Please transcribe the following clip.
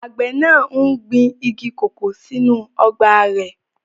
Àgbẹ̀ náà n gbin igi kòkó sínú ọgbà rẹ̀